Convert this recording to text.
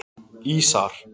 Ísar